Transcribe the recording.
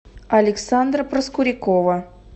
александра проскурякова